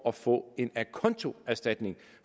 at få en acontoerstatning